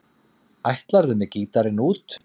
Ætlarðu með gítarinn út?